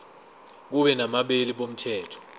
kube nabameli bomthetho